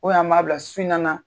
an maa bila su in na na.